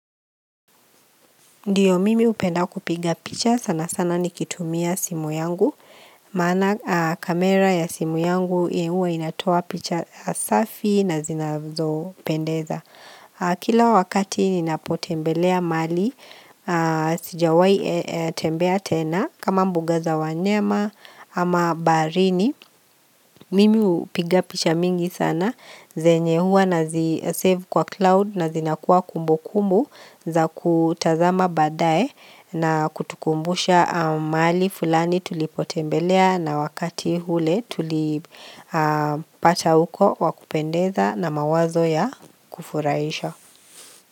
Ndiyo mimi upenda kupiga picha sana sana nikitumia simu yangu, maana kamera ya simu yangu huwa inatoa picha safi na zinazo pendeza. Kila wakati ninapotembelea mali sijawai tembea tena kama mbuga za wanyema ama barini mimi hupiga picha mingi sana zenye hua na zisave kwa cloud na zinakuwa kumbu kumbu za kutazama badae na kutukumbusha mahali fulani tulipotembelea na wakati hule tulipata uko wakupendeza na mawazo ya kufuraisha.